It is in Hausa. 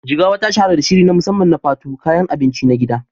Jigawa ta shahara da shiri na musamman na Fufu, kayan abinci na gida.